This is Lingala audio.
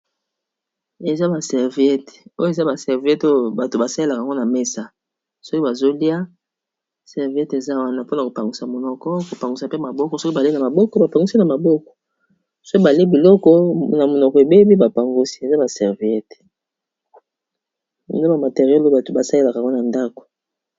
Eza ba serviete oyo eza ba serviete oyo bato basalelaka ngo na mesa soki bazolia serviete eza wana mpona kopangwisa monoko kopangwisa pe maboko soki balei na maboko, bapangosi na maboko soki bale biloko na monoko ebebi bapangosi eza baserviete no bamateriole bato basalelaka ngo na ndako